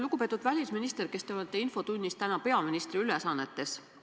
Lugupeetud välisminister, kes te olete infotunnis täna peaministri ülesannetes!